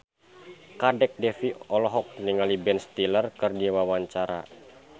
Kadek Devi olohok ningali Ben Stiller keur diwawancara